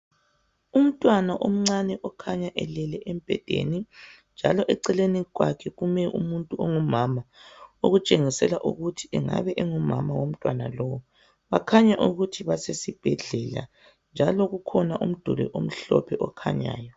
Umntwana omncane okhanya elele embhedeni njalo eceleni kwakhe kume umuntu ongumama okutshengisela ukuthi engabe engumama womntwana lo. Bakhanya ukuthi basesibhedlela njalo kukhona umduli omhlophe okhanyayo.